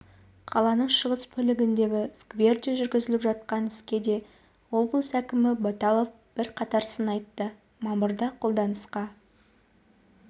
қаланың шығыс бөлігіндегі скверде жүргізіліп жатқан іске де облыс әкімі баталов бірқатар сын айтты мамырда қолданысқа